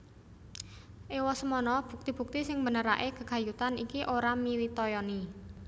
Ewosemono bukti bukti sing mbenerake gegayutan ini ora mitayani